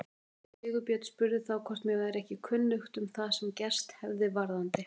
Sigurbjörn spurði þá hvort mér væri ekki kunnugt um það sem gerst hefði varðandi